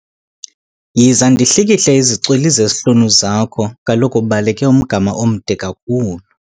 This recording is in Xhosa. Yiza ndihlikihle izicwili zezihlunu zakho kaloku ubaleke umgama omde kakhulu.